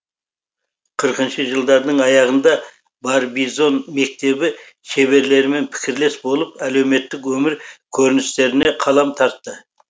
қырқыншы жылдардың аяғында барбизон мектебі шеберлерімен пікірлес болып әлеуметтік өмір көріністеріне қалам тартты